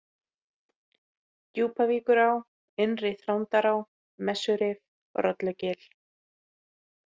Djúpavíkurá, Innri-Þrándará, Messurif, Rollugil